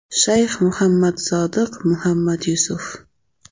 Shayx Muhammad Sodiq Muhammad Yusuf.